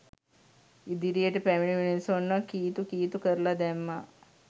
ඉදිරියට පැමිණි මිනිසුන්ව කීතු කීතු කරලා දැම්මා